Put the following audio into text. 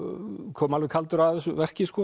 kom alveg kaldur að þessu verki